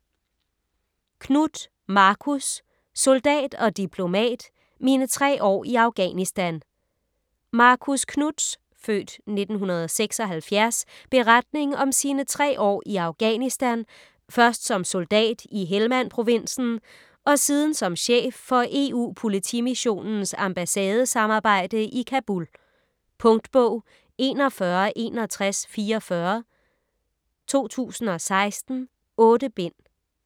Knuth, Marcus: Soldat og diplomat: mine tre år i Afghanistan Marcus Knuths (f. 1976) beretning om sine tre år i Afghanistan, først som soldat i Helmand-provinsen og siden som chef for EU-Politimissionens ambassadesamarbejde i Kabul. Punktbog 416144 2016. 8 bind.